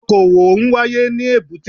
Okò òwò n wáyé ní èbúté